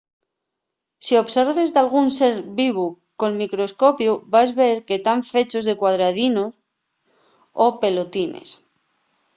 si observes dalgún ser vivu col microscopiu vas ver que tán fechos de cuadradinos o pelotines